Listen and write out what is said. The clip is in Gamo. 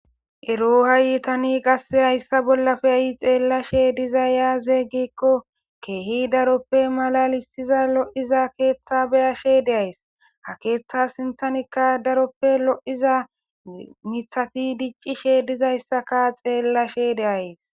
ero hayi itani qase hayssa bollafe ayi xeellashe diza yaaze gikko keehi daroppe mala listiza lo7iza keeththa beyashe deays ha keeththa sinthanikka daroppe lo7iza mithati diccishe dizayssaka xeellashe deayes